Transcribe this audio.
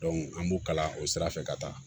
an b'u kalan o sira fɛ ka taa